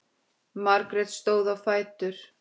Margrét stóð á fætur.